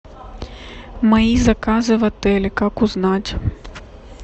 мои заказы в отеле как узнать